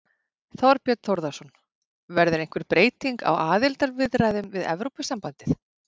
Þorbjörn Þórðarson: Verður einhver breyting á aðildarviðræðunum við Evrópusambandið?